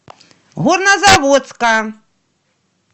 горнозаводска